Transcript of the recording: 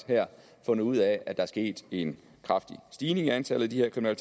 fundet ud af at er sket en kraftig stigning i antallet af